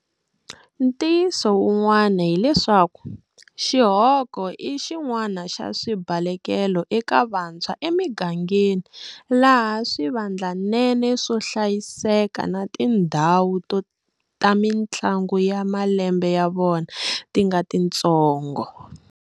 Ntiyiso wun'wani hileswaku xihoko i xin'wana xa swibalekelo eka vantshwa emigangeni laha swivandlanene swo hlayiseka na tindhawu ta mitlangu ya malembe ya vona ti nga titsongo.